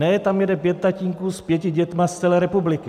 Ne, tam jede pět tatínků s pěti dětmi z celé republiky.